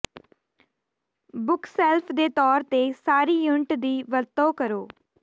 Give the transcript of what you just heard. bookshelf ਦੇ ਤੌਰ ਤੇ ਸਾਰੀ ਯੂਨਿਟ ਦੀ ਵਰਤੋਂ ਕਰੋ